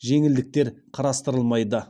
жеңілдіктер қарастырылмайды